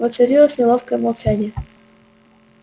воцарилось неловкое молчание